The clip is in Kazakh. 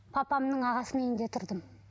папамның ағасының үйінде тұрдым